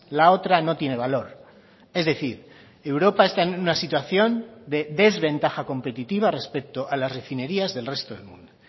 la otra no tiene valor es decir europa está en una situación de desventaja competitiva respecto a las refinerías del resto del mundo